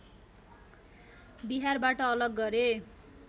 बिहारबाट अलग गरे